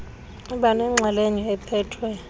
iba nenxalenye ephethwe